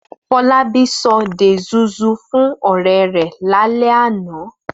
Fọlábí sọ dey zuzu fún ọ̀rẹ́ rẹ̀ lálẹ́ àná.